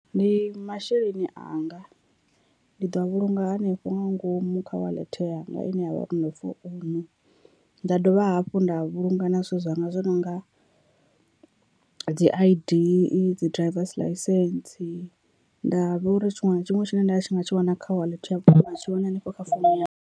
Ndi masheleni anga ndi ḓo a vhulunga hanefho nga ngomu kha wallet yanga ine yavha founu nda dovha hafhu nda vhulunga na zwithu zwanga zwoṱhe nonga dzi I_D, dzi drivers ḽaisentse, nda vha uri tshiṅwe na tshiṅwe tshine nda nga tshi wana kha wallet matsheloni hanefho kha founu ya .